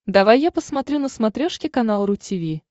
давай я посмотрю на смотрешке канал ру ти ви